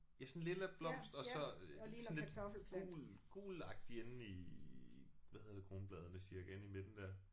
Ja sådan en lilla blomst og så øh sådan lidt gul gulagtig indeni hvad hedder det kronbladene cirka inde i midten der